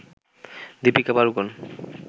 Deepika Padukone